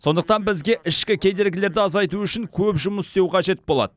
сондықтан бізге ішкі кедергілерді азайту үшін көп жұмыс істеу қажет болады